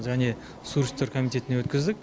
және су ресурстер комитетіне өткіздік